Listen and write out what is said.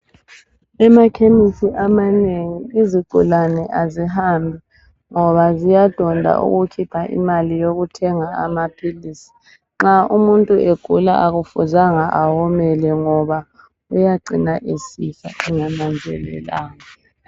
Emakhemisi amanengi izigulane azihambi ngoba ziyadonda ukukhipha imali yokuthenga amaphilisi .Nxa umuntu egula akufuzanga awomele ngoba uyacina esifa engananzelelanga .